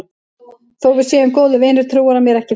Þó að við séum góðir vinir trúir hann mér ekki fyrir öllu.